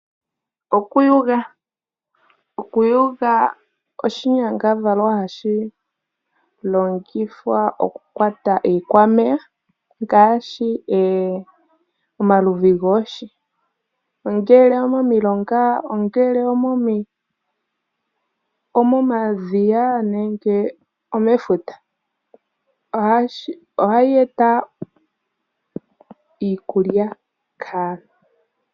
Okuyula oshinyangadhalwa hashi longithwa okukwata iikwameya ngaashi omaludhi goohi, ongele omomilonga, omomadhiya nenge omefuta. Ohashi eta iikulya kaantu.